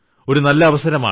ഒരു നല്ല അവസരമാണ്